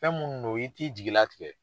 Fɛn minnu do i t'i jigila tigɛ.